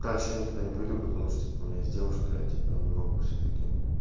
дальше никуда не пойду потому что типа у меня есть девушка я типа не могу всё-таки